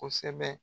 Kosɛbɛ